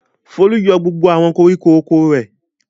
Folú yọ gbogbo àwọn koríko oko rẹ̀.